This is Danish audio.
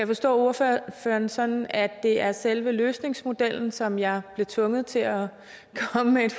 forstå ordføreren sådan sådan at det er selve løsningsmodellen som jeg bliver tvunget til at komme med et